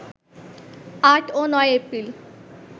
৮ ও ৯ এপ্রিল